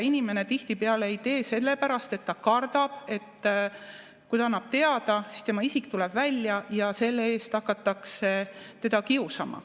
Inimene tihtipeale ei tee seda, sellepärast et ta kardab, et kui ta annab teada, siis tema isik tuleb välja ja selle eest hakatakse teda kiusama.